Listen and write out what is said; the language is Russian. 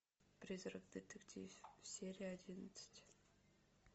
призрак детектив серия одиннадцать